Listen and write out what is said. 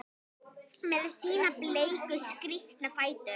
Með sína bleiku, skrítnu fætur?